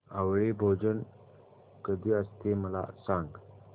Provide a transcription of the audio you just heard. आवळी भोजन कधी असते मला सांग